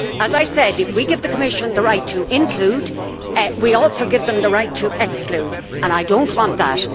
As I said, if we give the Commission the right to include we also give them the right to exclude and I do not want that.